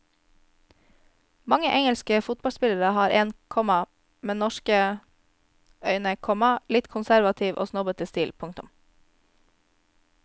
Mange engelske fotballspillere har en, komma med norske øyne, komma litt konservativ og snobbete stil. punktum